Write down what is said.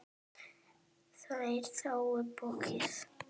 Þær þáðu boðið.